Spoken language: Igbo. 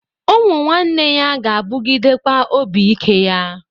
Ụmụnwanne ya ga-abụgịdekwa obi ike ya